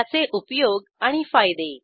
त्याचे उपयोग आणि फायदे